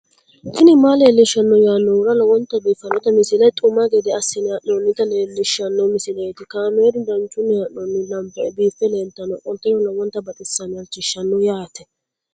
tini maa leelishshanno yaannohura lowonta biiffanota misile xuma gede assine haa'noonnita leellishshanno misileeti kaameru danchunni haa'noonni lamboe biiffe leeeltannoqolten lowonta baxissannoe halchishshanno yaate